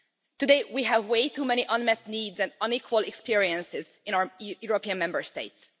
Today we have way too many unmet needs and unequal experiences in our European Member States.